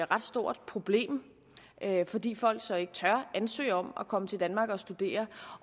ret stort problem fordi folk så ikke tør ansøge om at komme til danmark og studere